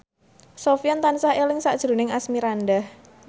Sofyan tansah eling sakjroning Asmirandah